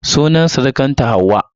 Sunan surukarta Hauwa.